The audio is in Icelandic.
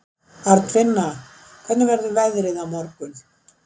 Arnfinna, hvernig verður veðrið á morgun?